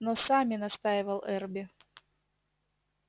но сами настаивал эрби